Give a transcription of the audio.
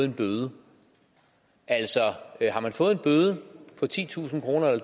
en bøde altså har man fået en bøde på titusind kroner